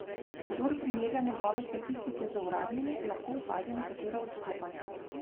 Kdor primerja njegove statistike z uradnimi, lahko opazi nekatera odstopanja.